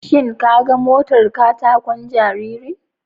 Shin ka ga motar kataƙon jaririn?